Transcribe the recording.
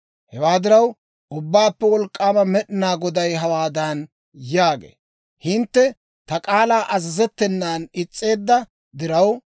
«Hewaa diraw, Ubbaappe Wolk'k'aama Med'inaa Goday hawaadan yaagee; ‹Hintte ta k'aalaw azazettenan is's'eedda diraw,